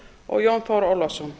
og jón þór ólafsson